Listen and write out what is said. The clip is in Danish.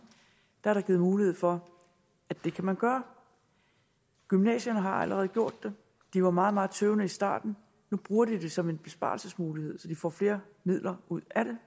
er der givet mulighed for at det kan man gøre gymnasierne har allerede gjort det de var meget meget tøvende i starten nu bruger de det som en besparelsesmulighed så de får flere midler ud af det